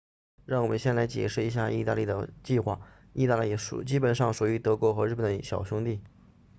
让我们先来解释一下意大利的计划意大利基本上属于德国和日本的小兄弟